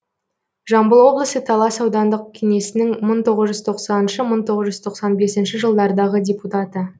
жамбыл облысы талас аудандық кеңесінің мың тоғыз жүз тоқсаныншы мың тоғыз жүз тоқсан бесінші жылдардағы депутаты